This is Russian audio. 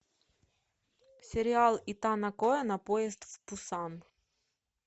сериал итана коэна поезд в пусан